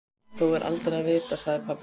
Þó er aldrei að vita, sagði pabbi.